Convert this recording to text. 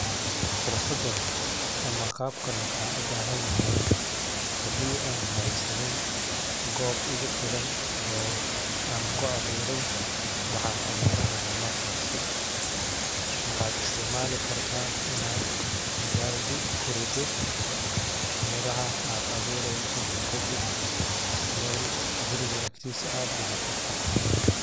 Xirfadan ama qabkan waxan ubahanyahay hadi an haysanin gob igufilan oo an ku abuuro waxa an aburanaya markasi waxad istacmali karta inad baldi kurido melaha ad abuureyso, kadib mel guriga aktisa ad digato.